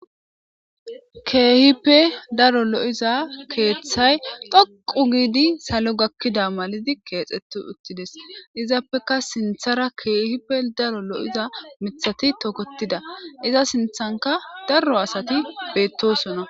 keehippe daro lo7iza keeththay dhoqu giidi salo gakkida malidi keexxeti uttides izappeka sinthara keehippe daro lo7iza mithati tokotida iza sinthanka daro asati beettosona